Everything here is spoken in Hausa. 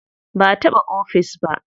Ba a bata ofis ba.